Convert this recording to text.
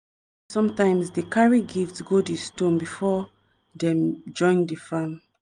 sometimes dey carry gift go di stone before before dem join dey farm.